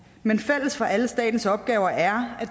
men fælles for alle statens opgaver er at